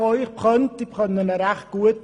Ich kenne es recht gut.